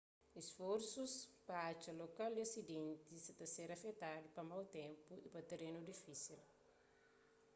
isforsus pa atxa lokal di asidenti sa ta ser afetadu pa mau ténpu y pa terenu difísil